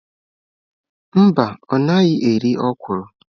Mba ọ naghị eri okwụrụ.